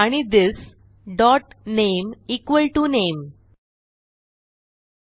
आणि this dot name equal to name